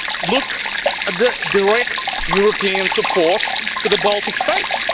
need. Look at the direct European support to the Baltic States.